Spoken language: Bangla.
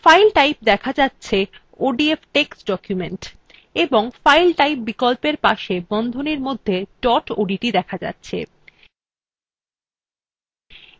file type দেখা যাচ্ছে odf text document এবং file type বিকল্পের পাশে বন্ধনীর মধ্যে dot odt দেখা যাচ্ছে